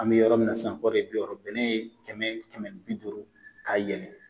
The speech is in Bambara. An be yɔrɔ min na sisan kɔri ye bi wɔɔrɔ bɛnɛ ye kɛmɛ, kɛmɛ ni bi duuru ka yɛlɛ.